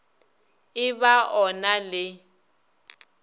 e ba o na le